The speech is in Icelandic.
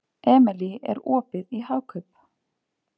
Emely, er opið í Hagkaup?